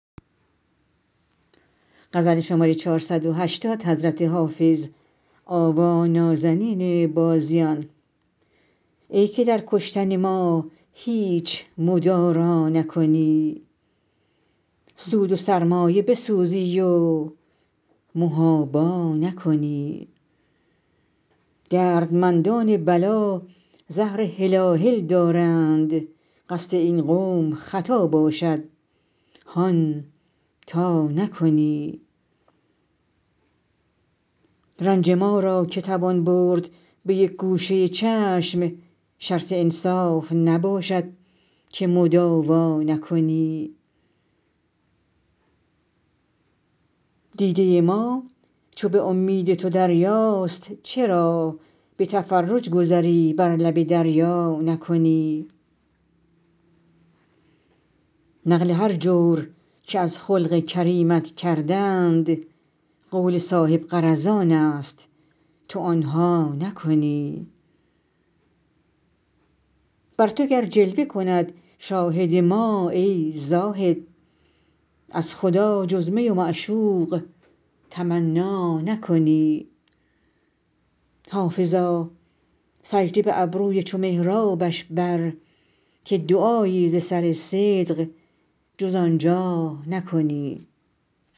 ای که در کشتن ما هیچ مدارا نکنی سود و سرمایه بسوزی و محابا نکنی دردمندان بلا زهر هلاهل دارند قصد این قوم خطا باشد هان تا نکنی رنج ما را که توان برد به یک گوشه چشم شرط انصاف نباشد که مداوا نکنی دیده ما چو به امید تو دریاست چرا به تفرج گذری بر لب دریا نکنی نقل هر جور که از خلق کریمت کردند قول صاحب غرضان است تو آن ها نکنی بر تو گر جلوه کند شاهد ما ای زاهد از خدا جز می و معشوق تمنا نکنی حافظا سجده به ابروی چو محرابش بر که دعایی ز سر صدق جز آن جا نکنی